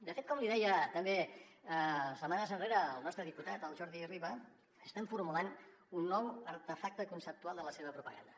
de fet com li deia també setmanes enrere el nostre diputat el jordi riba estan formulant un nou artefacte conceptual de la seva propaganda